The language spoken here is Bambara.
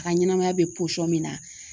A ka ɲɛnɛmaya bɛ min na